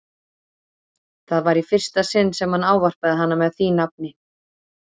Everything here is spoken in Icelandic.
Það var í fyrsta sinn sem hann ávarpaði hana með því nafni.